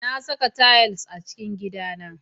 Na saka tayil a cikin gidana.